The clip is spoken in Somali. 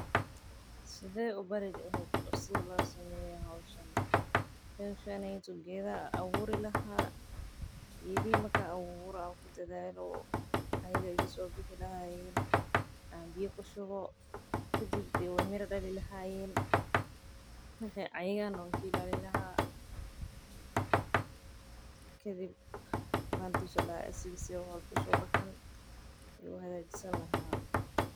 Sidee ubari leheed qof sidha loo sameeyo howshan geeda abuuri lahaa waay soo bixi lahayeen mira dali lahaayen.